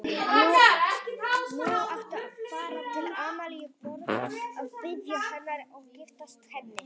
Nú áttu að fara til Amalíu Borg og biðja hennar og giftast henni.